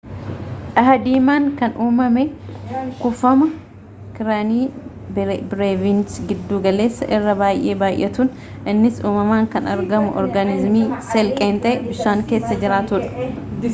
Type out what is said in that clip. dha'aa diimaan kan umame kuufama kariiniya bireevis giddu galessa irra bay'ee baay'atuun innis uumamaan kan argamu organiziimii seel-qeenxee bishaan keessa jiraatuudha